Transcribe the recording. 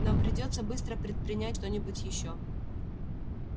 нам придётся быстро предпринять что-нибудь ещё